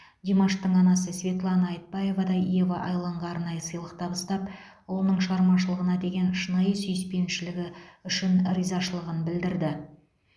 димаштың анасы светлана айтбаева да ева айланға арнайы сыйлық табыстап ұлының шығармашылығына деген шынайы сүйіспеншілігі үшін ризашылығын білдірді